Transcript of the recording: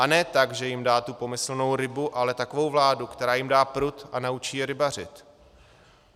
A ne tak, že jim dá tu pomyslnou rybu, ale takovou vládu, která jim dá prut a naučí je rybařit.